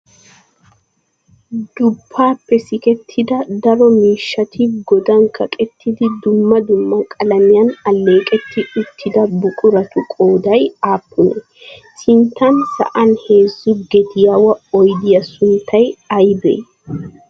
duppaappe sikettida daro miishshati godan kaqettidi dumma dumma qalamiyan alleeqetti uttida buquratu qooday aappunee? sinttan sa'an heezzu gediyaawa oyidiya sunttay ayibee?